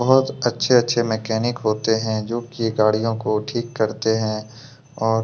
बहोत अच्छे-अच्छे मैकेनिक होते हैं जो की गाड़ियों को ठीक करते हैं और--